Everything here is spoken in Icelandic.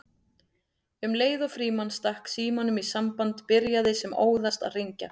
Um leið og Frímann stakk símanum í samband byrjaði sem óðast að hringja